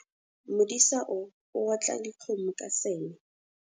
Modisa o otla dikgomo ka seme